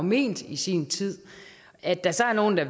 ment i sin tid at der så er nogle der